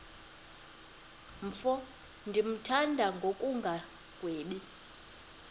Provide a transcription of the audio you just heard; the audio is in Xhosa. mfo ndimthanda ngokungagwebi